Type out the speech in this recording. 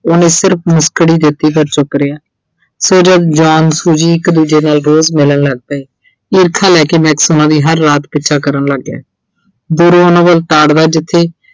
ਉਹਨੇ ਸਿਰਫ ਮੁਸਕੜੀ ਦਿੱਤੀ ਪਰ ਚੁੱਪ ਰਿਹਾ। ਸੋ ਜਦ John, Suji ਇੱਕ ਦੂਜੇ ਨਾਲ ਬਹੁਤ ਮਿਲਣ ਲੱਗ ਪਏ, ਈਰਖਾ ਲੈ ਕੇ Max ਉਨ੍ਹਾਂ ਦੀ ਹਰ ਰਾਤ ਪਿੱਛਾ ਕਰਨ ਲੱਗ ਗਿਆ। ਦੂਰੋਂ ਉਨ੍ਹਾਂ ਵੱਲ ਤਾੜਦਾ ਜਿੱਥੇ